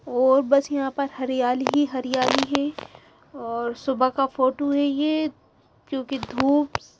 और बस यहाँ पर हरयाली ही हरयाली हैं और सुबह का फोटो हैं ये क्योंकि धूप --